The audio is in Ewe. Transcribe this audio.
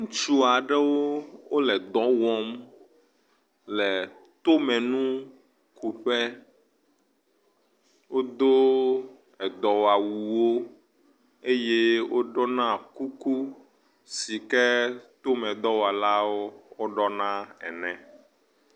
Ŋutsu aɖewo wole dɔ wɔm le tomenukuƒe. Wodo edɔwɔawu wo eye woɖɔna kuku si ke tomedɔwɔlawo ɖɔna ene.